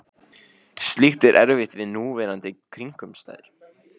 Slíkt er erfitt við núverandi kringumstæður.